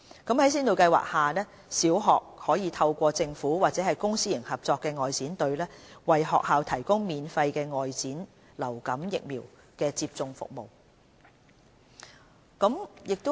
在先導計劃下，小學可透過政府或公私營合作外展隊，為學校提供免費的外展流感疫苗接種服務。